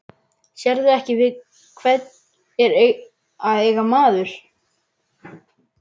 Sérðu ekki við hvern er að eiga maður?